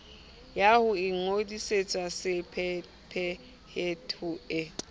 ya ho ingodisetsa sephethephethe e